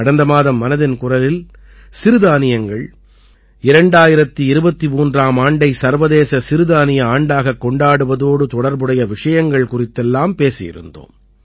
கடந்த மாதம் மனதின் குரலில் சிறுதானியங்கள் 2023ஆம் ஆண்டை சர்வதேச சிறுதானிய ஆண்டாகக் கொண்டாடுவதோடு தொடர்புடைய விஷயங்கள் குறித்துப் பேசியிருந்தோம்